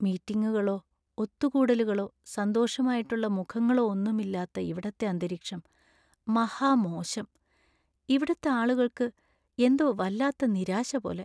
മീറ്റിങ്ങുകളോ ഒത്തുകൂടലുകളോ സന്തോഷമായിട്ടുള്ള മുഖങ്ങളോ ഒന്നുമില്ലാത്ത ഇവിടത്തെ അന്തരീക്ഷം മഹാ മോശം. ഇവിടുത്തെ ആളുകൾക്ക് എന്തോ വല്ലാത്ത നിരാശ പോലെ .